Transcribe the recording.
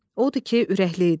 Odur ki, ürəkli idi.